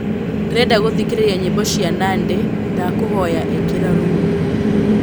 ndĩrenda gũthĩkĩrĩrĩa nyĩmbo cĩa nandy ndakũhoyaĩkĩra ruũ